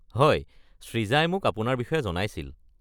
হয় সৃজাই মোক আপোনাৰ বিষয়ে জনাইছিল।